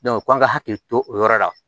k'an ka hakili to o yɔrɔ la